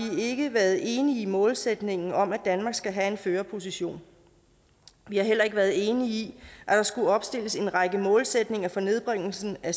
ikke været enige i målsætningen om at danmark skal have en førerposition vi har heller ikke været enige i at der skulle opstilles en række målsætninger for nedbringelse af